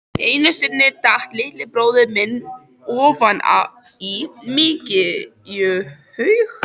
Einu sinni datt litli bróðir minn ofan í mykjuhaug.